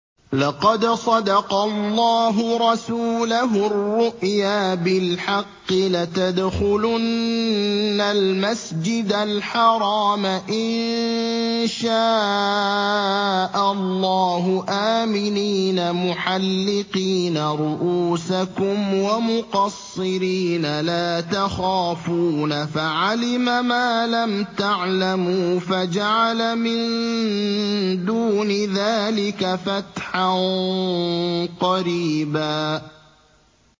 لَّقَدْ صَدَقَ اللَّهُ رَسُولَهُ الرُّؤْيَا بِالْحَقِّ ۖ لَتَدْخُلُنَّ الْمَسْجِدَ الْحَرَامَ إِن شَاءَ اللَّهُ آمِنِينَ مُحَلِّقِينَ رُءُوسَكُمْ وَمُقَصِّرِينَ لَا تَخَافُونَ ۖ فَعَلِمَ مَا لَمْ تَعْلَمُوا فَجَعَلَ مِن دُونِ ذَٰلِكَ فَتْحًا قَرِيبًا